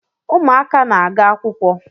Ụmụaka na-aga akwụkwọ